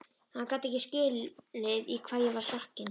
Hann gat ekki skilið í hvað ég var sokkin.